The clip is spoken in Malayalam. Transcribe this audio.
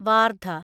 വാർധ